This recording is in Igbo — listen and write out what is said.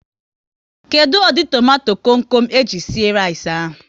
Kedụ ụdị tomato kom kom e ji sie rice ahụ?